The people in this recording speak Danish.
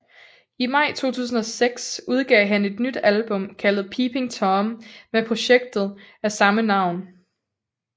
I maj 2006 udgav han et nyt album kaldet Peeping Tom med projektet af samme navn